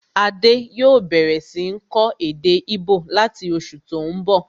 Adé yòó bẹ̀rẹ̀ sí ń kọ́ èdè íbò láti oṣù tó n bọ̀